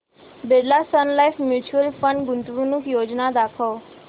Birla Sun Life mutual fund गुंतवणूक योजना दाखव